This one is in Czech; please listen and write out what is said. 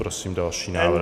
Prosím další návrh.